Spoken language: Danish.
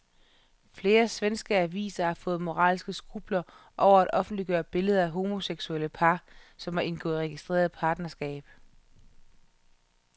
Flere svenske aviser har fået moralske skrupler over at offentliggøre billeder af homoseksuelle par, som har indgået registreret partnerskab.